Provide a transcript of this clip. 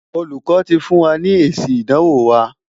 Olùkọ́ ti fún wa ní èsì ìdánwò wa.